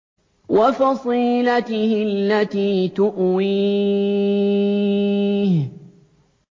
وَفَصِيلَتِهِ الَّتِي تُؤْوِيهِ